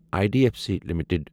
I D F C limited